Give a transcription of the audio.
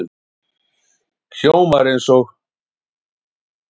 Hljómar eins og